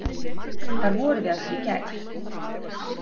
Hvar vorum við aftur í gær?